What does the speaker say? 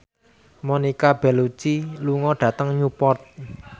Monica Belluci lunga dhateng Newport